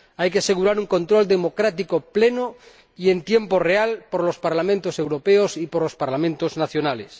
Hay que asegurar un control democrático pleno y en tiempo real por el Parlamento Europeo y por los Parlamentos nacionales.